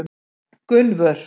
Gunnvör